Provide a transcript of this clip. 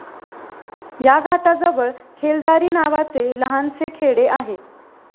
या घाटाजवळ खेलदारी नावाचे लहानसे खेडे आहे.